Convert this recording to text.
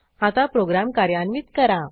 आता प्रोग्रॅम कार्यान्वित करा